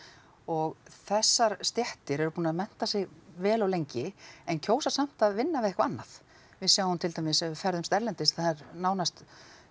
og þessar stéttir eru búnar að mennta sig vel og lengi en kjósa að vinna við eitthvað annað við sjáum til dæmis ef við ferðumst erlendis að það er nánast